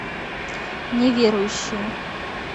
неверующая